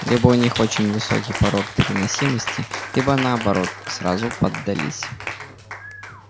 либо у них очень высокий порог переносимости либо наоборот сразу поддались